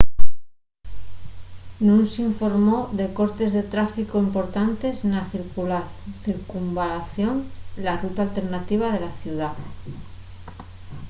nun s’informó de cortes de tráficu importantes na circunvalación la ruta alternativa de la ciudá